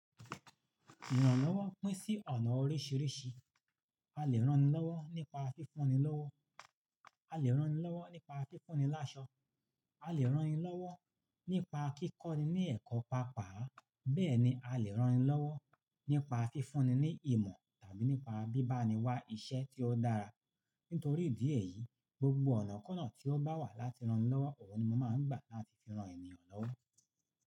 Ènìyàn lọ́wọ́ pín sí ọ̀nà oríṣìíríṣìí. A lè rán ni lọ́wọ́ nípa fífún ni lọ́wọ́, a lè rán ni lọ́wọ́ nípa fífún ni láṣọ, a lè rán ni lọ́wọ́ nípa kíkọ́ ni ní ẹ̀kọ́ pàápàá, bẹ́ẹ̀ ni a lè rán ni lọ́wọ́ nípa fífún ni ní ìmọ̀ tàbí nípa bíbá ni wá iṣẹ́ tí ó dára. Nítorí ìdí èyí, gbogbo ọ̀nà kọ́nà tí ó bá wà láti ran ni lọ́wọ́, òhun ni mo máa ń gbà láti fi ran ènìyàn lọ́wọ́.